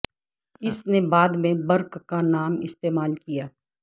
اس نے بعد میں برک کا نام استعمال کیا